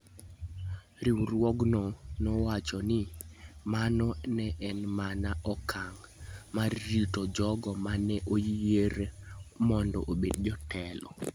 Riwruogno nowacho ni mano ne en mana okang ' mar rito jogo ma ne oyier mondo obed jotelo.